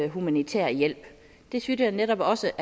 humanitær hjælp det synes jeg netop også